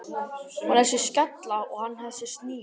Hún þessi skella og hann þessi snigill.